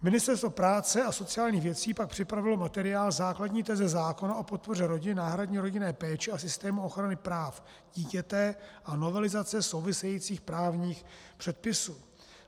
Ministerstvo práce a sociálních věcí pak připravilo materiál Základní teze zákona o podpoře rodin, náhradní rodinné péči a systému ochrany práv dítěte a novelizace souvisejících právních předpisů.